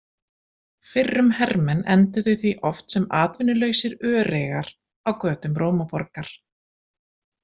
Fyrrum hermenn enduðu því oft sem atvinnulausir öreigar á götum Rómaborgar.